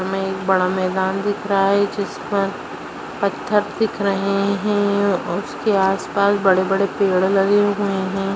हमे एक बड़ा मैदान दिख रहा है जिस पर पत्थर दिख रहे हैं उसके आसपास बड़े-बड़े पेड़ लगे हुए हैं।